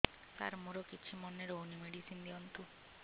ସାର ମୋର କିଛି ମନେ ରହୁନି ମେଡିସିନ ଦିଅନ୍ତୁ